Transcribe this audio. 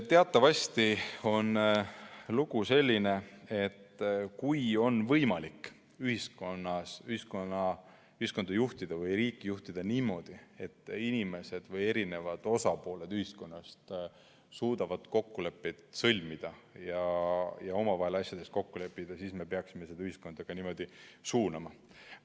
Teatavasti on lugu selline, et kui on võimalik ühiskonda või riiki juhtida niimoodi, et inimesed või ühiskonna osapooled suudavad kokkuleppeid sõlmida ja omavahel asjades kokku leppida, siis me peaksime seda ühiskonda ka niimoodi suunama.